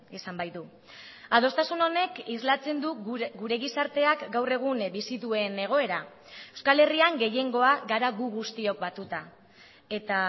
izan baitu adostasun honek islatzen du gure gizarteak gaur egun bizi duen egoera euskal herrian gehiengoa gara gu guztiok batuta eta